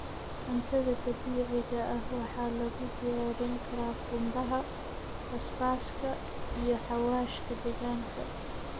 Cuntada dabiiciga ah waxaa lagu diyaarin karaa qumbaha, basbaaska, iyo xawaashka deegaanka.